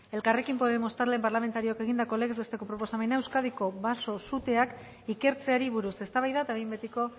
elkarrekin podemos talde parlamentarioak egindako legez besteko proposamena euskadiko baso suteak ikertzeari buruz eztabaida eta behin betiko